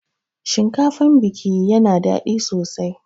Shinkafan biki yana daɗi sosai.